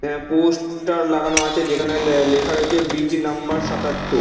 অ্যা poster লাগানো আছে যেখানে লে লেখা রয়েছে বীচ নাম্বর সাতাত্তর।